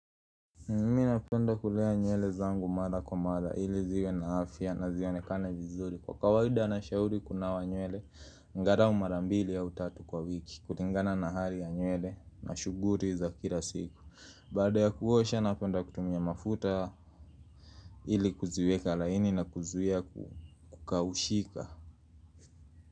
Mimi napenda kulea nywele zangu mara kwa mara ili ziwe na afya na zionekane vizuri kwa kawaida na shauri kunawa nywele angalau mara mbili au tatu kwa wiki kulingana na hali ya nywele na shuguri za kila siku. Baada ya kuosha napenda kutumia mafuta ili kuziweka laini na kuzuia kukaushika.